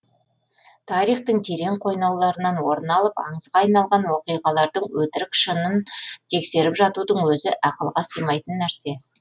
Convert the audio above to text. тарихтың терең қойнауларынан орын алып аңызға айналған оқиғалардың өтірік шынын тексеріп жатудың өзі ақылға сыймайтын нәрсе